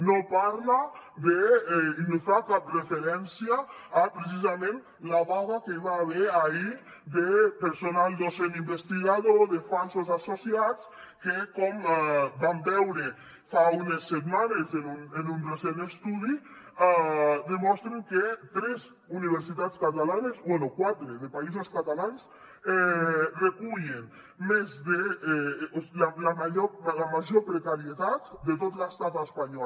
no parla ni fa cap referència a precisament la vaga que hi va haver ahir de personal docent investigador de falsos associats que com vam veure fa unes setmanes en un recent estudi demostren que tres universitats catalanes bé quatre de països catalans recullen la major precarietat de tot l’estat espanyol